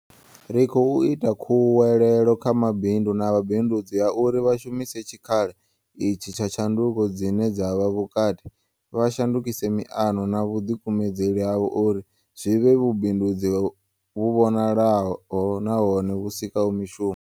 Ri khou ita khuwelelo kha mabindu na vhabindudzi ya uri vha shumise tshikhala itshi tsha tshanduko dzine dza vha kati, vha shandukise miano na vhuḓikumedzeli havho uri zwi vhe vhubindudzi vhu vhonalaho nahone vhu sikaho mishumo.